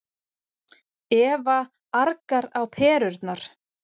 Eva argar á perurnar.